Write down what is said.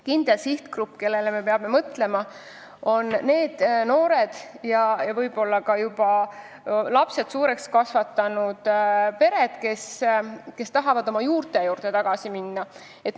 Kindel sihtgrupp, kellele me peame mõtlema, on need noored ja võib-olla ka juba lapsed suureks kasvatanud pered, kes tahavad oma juurte juurde tagasi minna.